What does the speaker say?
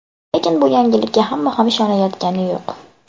Lekin bu yangilikka hamma ham ishonayotgani yo‘q.